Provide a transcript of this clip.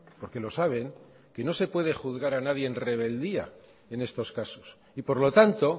porque lo saben que no se puede juzgar a nadie en rebeldía en estos casos y por lo tanto